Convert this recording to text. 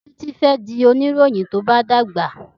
Títí fe di òníròhìn tó bá dàgbà.